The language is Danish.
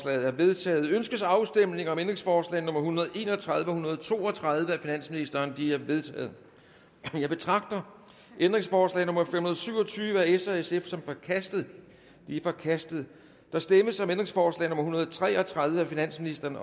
er vedtaget ønskes afstemning om ændringsforslag nummer en hundrede og en og tredive og en hundrede og to og tredive af finansministeren de er vedtaget jeg betragter ændringsforslag nummer fem hundrede og syv og tyve af s og sf som forkastet det er forkastet der stemmes om ændringsforslag nummer en hundrede og tre og tredive af finansministeren